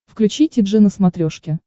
включи ти джи на смотрешке